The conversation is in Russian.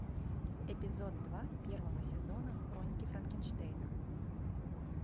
эпизод два первого сезона хроники франкенштейна